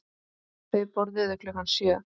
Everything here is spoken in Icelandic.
Þau borðuðu klukkan sjö.